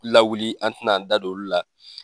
Lawuli an te na an da don olu la.